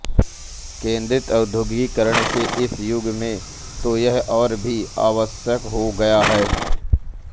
केंद्रीकृत औद्योगीकरण के इस युग में तो यह और भी आवश्यक हो गया है